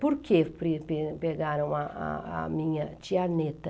Por que prepe pegaram a a a minha tia Neta?